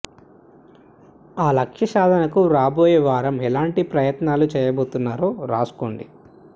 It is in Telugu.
ఆ లక్ష్య సాధనకు రాబోయే వారం ఎలాంటి ప్రయత్నాలు చేయబోతున్నారో రాసుకోండి